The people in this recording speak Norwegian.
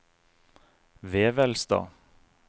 Vevelstad